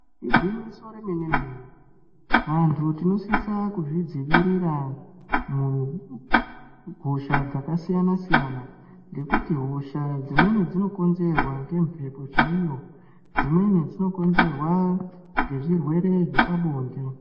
Igwinyiso remenemene vanthu tinosisa kuzvidzivirira mu kuhosha dzakasiyanasiyana ngekuti hosha dzimweni dzinokonzerwa ngemhepo chaiyo dzimweni dzinokonzerwa ngezvirwere zvepabonde.